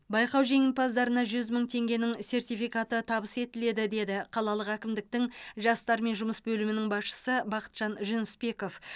байқау жеңімпаздарына жүз мың теңгенің сертификаты табыс етіледі деді қалалық әкімдіктің жастармен жұмыс бөлімінің басшысы бақытжан жүнісбеков